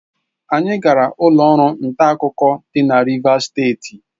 Anyị gara ụlọ ọrụ nta akụkọ dị na Rivas steeti.